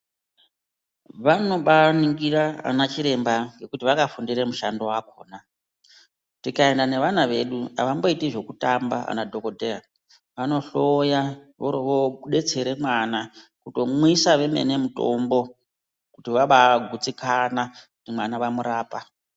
Vanobaaningira ana chiremba ngokuti vakafundira mushando wakona. Tikaenda nevana vedu havamboiti zvokutamba ana dhogodheya, vanohloya voorovodetsere mwana, kutomwisa vemene kuti vabaa gutsikana kuti mwana vamurapa.